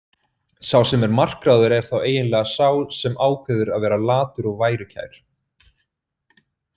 Sá sem er makráður er þá eiginlega sá sem ákveður að vera latur og værukær.